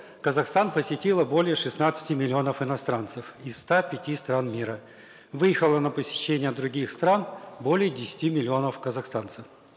казахстан посетило более шестнадцати миллионов иностранцев из ста пяти стран мира выехало на посещение других стран более десяти миллионов казахстанцев